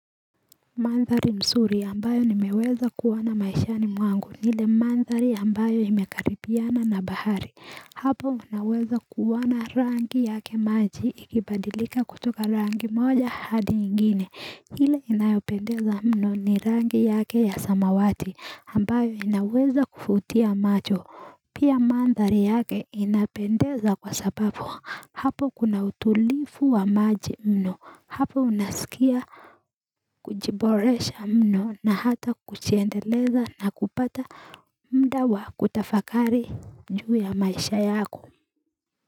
Mandhari msuri ambayo nimeweza kuwona maishani mwangu nile mandhari ambayo imekaripiana na bahari Hapo unaweza kuwana rangi yake maji ikibadilika kutoka rangi moja hadi ingine hile inayopendeza mno ni rangi yake ya samawati ambayo inaweza kufutia macho Pia mandhari yake inapendeza kwa sababu hapo kuna utulifu wa maji mno Hapo unasikia kujiboresha mno na hata kuchiendeleza na kupata mda wa kutafakari juu ya maisha yako.